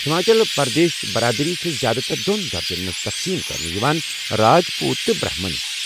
ہماچل پردیشِچ برادری چھےٚ زیٛادٕ تر دۄن درجن منٛز تقسیٖم کرنہٕ یوان، راج پوُت تہٕ برہمن